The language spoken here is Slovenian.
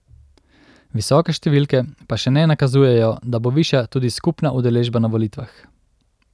Visoke številke pa še ne nakazujejo, da bo višja tudi skupna udeležba na volitvah.